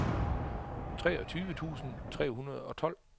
treogtyve tusind tre hundrede og tolv